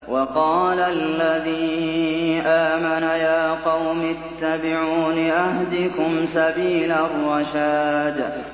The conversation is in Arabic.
وَقَالَ الَّذِي آمَنَ يَا قَوْمِ اتَّبِعُونِ أَهْدِكُمْ سَبِيلَ الرَّشَادِ